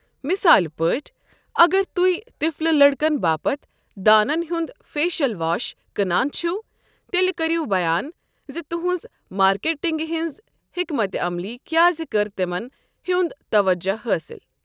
مثال پٲٹھۍ، اگر تُہۍ تِفلہٕ لڑکَن باپتھ دانن ہُنٛد فیشل واش کٕنان چھِو، تیٚلہِ کٔرِو بیان زِ تُہنٛز مارکیٹنگہِ ہٕنٛز حکمتہِ عملی کیٛازِ کرِ تِمن ہُنٛد توجہ حٲصِل۔